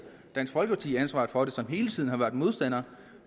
dansk folkeparti ansvaret for det som hele tiden har været modstander